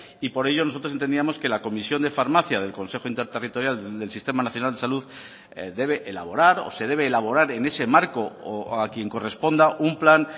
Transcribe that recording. y por ello nosotros entendíamos que la comisión de farmacia del consejo interterritorial del sistema nacional de salud debe elaborar o se debe elaborar en ese marco o a quien corresponda un plan